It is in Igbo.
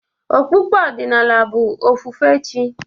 Okpukpe ọdịnala bụ ofufe chị́.